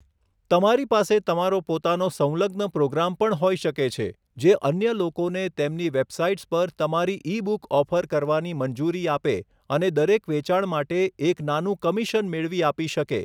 તમારી પાસે તમારો પોતાનો સંલગ્ન પ્રોગ્રામ પણ હોઈ શકે છે, જે અન્ય લોકોને તેમની વેબસાઇટ્સ પર તમારી ઈ બુક ઓફર કરવાની મંજૂરી આપે અને દરેક વેચાણ માટે એક નાનું કમિશન મેળવી આપી શકે.